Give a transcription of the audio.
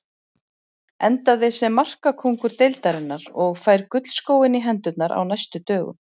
Endaði sem markakóngur deildarinnar og fær gullskóinn í hendurnar á næstu dögum.